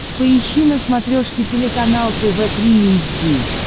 поищи на смотрешке телеканал тв три эйч ди